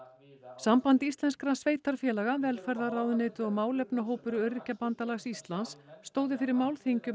samband íslenskra sveitarfélaga velferðarráðuneytið og málefnahópur Öryrkjabandalags Íslands stóðu fyrir málþingi um